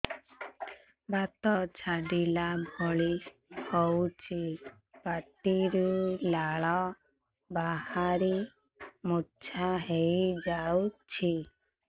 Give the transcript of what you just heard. ବାତ ଛାଟିଲା ଭଳି ହଉଚି ପାଟିରୁ ଲାଳ ବାହାରି ମୁର୍ଚ୍ଛା ହେଇଯାଉଛି